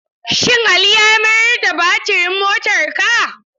Shin Ali ya mayar da batirin motarka?